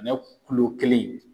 Ɲɔ kelen